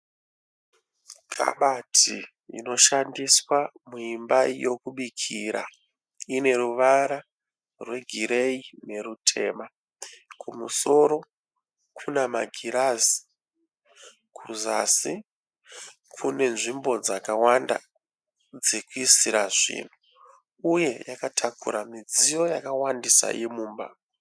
Kabati inoshandiswa muimba yokubikira. Ine ruvara rwegireyi nerutema. Kumusoro kune magirazi. Kuzasi kune nzvimbo dzakawanda dzekuisira zvinhu uye yakatakura mudziyo yakawandisa yemumba.